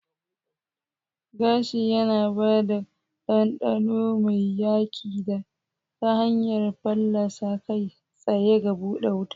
Gashi yana ba da ɗanɗano mai hayaƙi ta hanyar fallasa kai tsaye ga buɗe wuta.